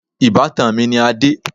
Ìbátan mi ni Adé.